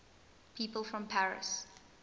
people from paris